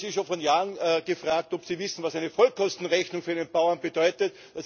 Ich habe Sie schon vor Jahren gefragt, ob Sie wissen, was eine Vollkostenrechnung für einen Bauern bedeutet.